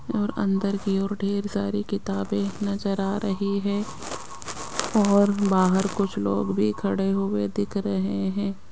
और अंदर की ओर ढेर सारी किताबें नजर आ रही है और बाहर कुछ लोग भी खड़े हुए दिख रहे हैं।